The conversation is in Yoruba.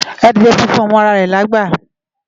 Adiè fúnfún ó mò àrá rè ni ágbà